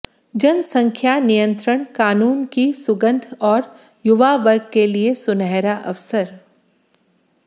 जनसंख्या नियंत्रण कानून की सुंगंध और युवावर्ग के लिए सुनहरा अवसर